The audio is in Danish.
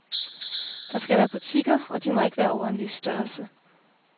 Der skal være butikker, og de må ikke være over en vis størrelse.